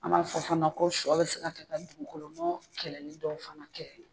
An b'a fɔ fana ko sɔ bɛ se ka dugukolo nɔ kɛlɛli dɔw fana kɛ.